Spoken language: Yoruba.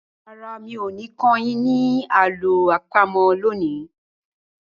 Rárá, mi ò ní kọ́ yín ní àlọ́ àpamọ̀ lónìí.